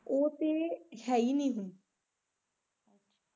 ਉਹ ਤੇ ਹੈ ਈ ਨੀ ਹੁਣ